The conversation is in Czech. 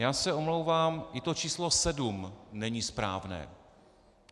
Já se omlouvám, i to číslo sedm není správné.